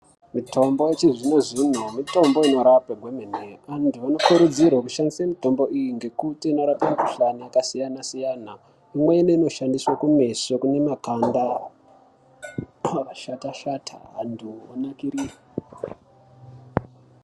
Mitombo yechizvino zvino mitombo inorape kwemene antu anokurudzirwa kushandisa mitombo iyi nekuti inorape mikuhlani yakasiyana siyana imweni inoshandiswe kumeso kune makanda akashatashata antu onakiriswa.